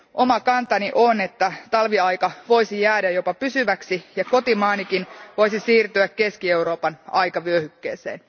Oma kantani on, että talviaika voisi jäädä jopa pysyväksi ja kotimaanikin voisi siirtyä Keski Euroopan aikavyöhykkeeseen.